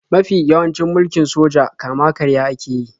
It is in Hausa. Mafi yawancin mulkin soja kama-karya ake yi.